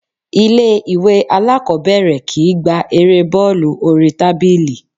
Ilé ìwé aláàkọ́bẹ̀rẹ̀ kìí gbá Erée bọ́ọ́lù oríi tábìlì.